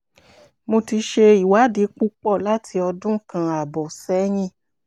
mo ti ṣe ìwádìí púpọ̀ láti ọdún kan ààbọ̀ sẹ́yìn